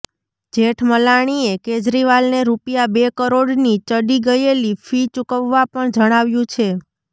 જેઠમલાણીએ કેજરીવાલને રૂપિયા બે કરોડની ચડી ગયેલી ફી ચૂકવવા પણ જણાવ્યું છે